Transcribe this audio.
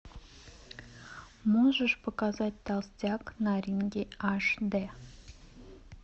можешь показать толстяк на ринге аш дэ